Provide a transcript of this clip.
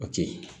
O tɛ yen